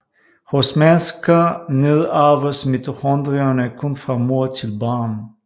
Hos mennesker nedarves mitochondrierne kun fra mor til barn